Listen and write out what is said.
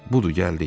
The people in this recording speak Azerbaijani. Budur gəldik.